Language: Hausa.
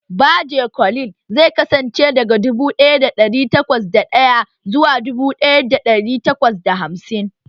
Baje kolin zai kasance daga dubu ɗaya da ɗari takwas da ɗaya zuwa dubu ɗaya da ɗari takwas da hamsin